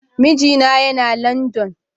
Mijina Yana London.